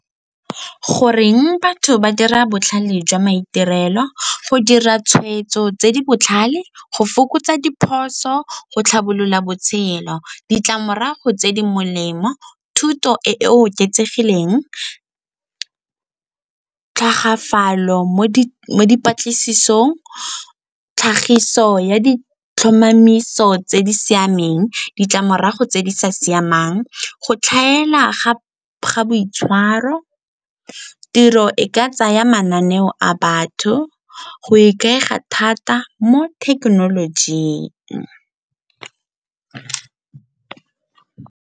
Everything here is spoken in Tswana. Goreng batho ba dira botlhale jwa maitirelo, go dira tshweetso tse di botlhale, go fokotsa diphoso, go tlhabolola botshelo? Ditlamorago tse di molemo, thuto e e oketsegileng, tlhagafalo mo dipatlisisong, tlhagiso ya ditlhomamiso tse di siameng. Ditlamorago tse di sa siamang, go tlhaela ga boitshwaro tiro e ka tsaya mananeo a batho go ikaega thata mo thekenolojing.